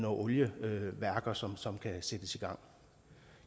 oliebaserede værker som som kan sættes i gang